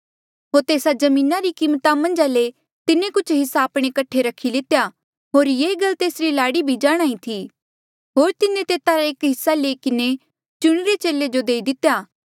होर तेस्सा जमीना री कीमता मन्झा ले तिन्हें कुछ हिस्सा आपणे कठे रखी लितेया होर ये गल तेसरी लाड़ी भी जाणहां ईं थी होर तिन्हें तेता रा एक हिस्सा लई किन्हें चुणिरे चेले जो देई दितेया